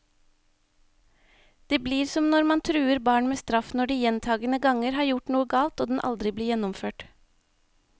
Det blir som når man truer barn med straff når de gjentagende ganger har gjort noe galt, og den aldri blir gjennomført.